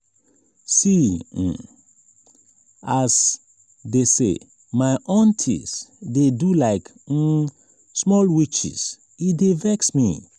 see um as dese my aunties dey do like um small witches e dey vex me.